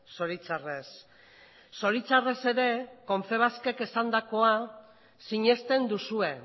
zoritxarrez zoritxarrez ere confebaskek esandakoa sinesten duzue